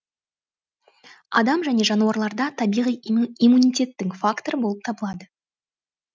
адам және жануарларда табиғи иммунитеттің факторы болып табылады